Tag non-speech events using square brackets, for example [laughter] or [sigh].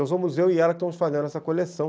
[unintelligible] eu e ela que estamos fazendo essa coleção.